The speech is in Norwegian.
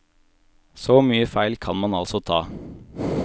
Så mye feil kan man altså ta.